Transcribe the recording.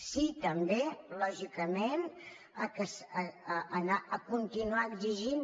sí també lògicament a continuar exigint